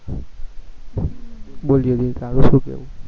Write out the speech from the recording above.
બોલ જ્યોતિ તારું શું કેવું